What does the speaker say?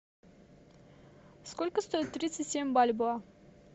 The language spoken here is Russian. сколько стоит тридцать семь бальбоа